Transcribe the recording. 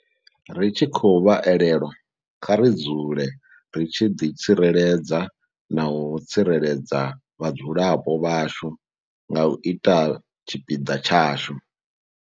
Ri tshi khou vha elelwa, kha ri dzule ri tshi ḓi tsireledza na u tsireledza vhadzulapo vhashu nga u ita tshipiḓa tshashu.